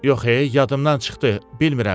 Yox ey, yadımdan çıxdı, bilmirəm.